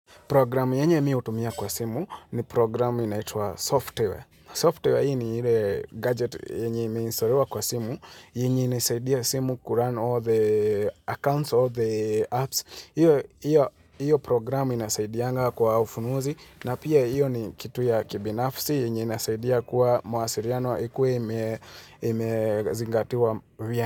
Programu yenye mi hutumia kwa simu ni programu inaitwa software. Software hii ni ile gadget yenye imeinstoliwa kwa simu. Yenye inaisaidia simu kuran all the accounts, all the apps. Iyo programu inasaidianga kwa ufunuzi. Na pia iyo ni kitu ya kibinafsi. Yenye inasaidia kuwa mawasiliano. Ikue imezingatiwa.